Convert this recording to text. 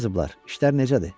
Nə yazıblar, işlər necədir?